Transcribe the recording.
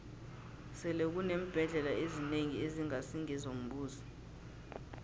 sele kuneembhendlela ezinengi ezingasi ngezombuso